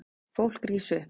Fólk rís upp.